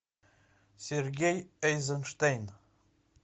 сергей эйзенштейн